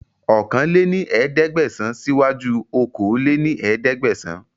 ọ̀kan lé ní ẹ̀ẹ́dẹ́gbẹ́sán sì wá ju okòó lé ní ẹ̀ẹ́dẹ́gbẹ́sán